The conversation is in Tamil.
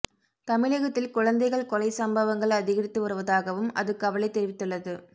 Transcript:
தமிழகத்தில் குழந்தைகள் கொலைச் சம்பவங்கள் அதிகரித்து வருவதாகவும் அது கவலை தெரிவித்துள்ளது